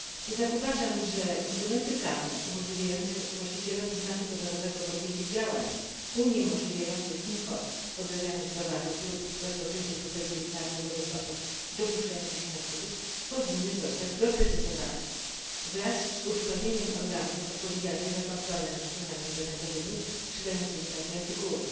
Jednak uważam, że instrumenty prawne umożliwiające właścicielowi znaku towarowego podjęcie działań uniemożliwiających import podrabianych towarów lub rozpoczęcie procedury prawnej wobec osób dopuszczających się nadużyć, powinny zostać doprecyzowane, wraz z osłabieniem organów odpowiedzialnych za kontrolę nad stronami internetowymi sprzedającymi takie artykuły.